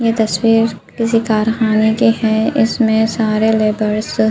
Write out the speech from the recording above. ये तस्वीर किसी कारखाने की है इसमें सारे लेबर्स --